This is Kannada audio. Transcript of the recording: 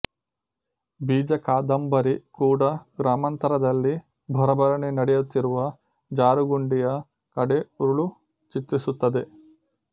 ಬೀಜ ಕಾದಂಬರಿ ಕೂಡ ಗ್ರಾಮಾಂತರದಲ್ಲಿ ಭರಭರನೆ ನಡೆಯುತ್ತಿರುವ ಜಾರುಗುಂಡಿಯ ಕಡೆ ಉರುಳು ಚಿತ್ರಿಸುತ್ತದೆ